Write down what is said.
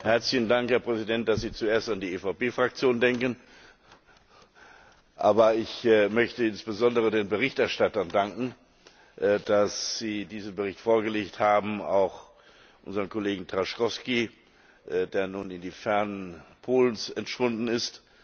Herzlichen Dank, Herr Präsident, dass Sie zuerst an die EVP Fraktion denken. Ich möchte insbesondere den Berichterstattern danken, dass sie diesen Bericht vorgelegt haben, auch unserem Kollegen Trzaskowski, der nun in das ferne Polen entschwunden ist.